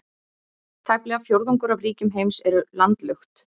Tæplega fjórðungur af ríkjum heims eru landlukt.